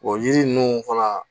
O yiri ninnu fana